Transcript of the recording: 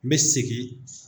N bɛ segin.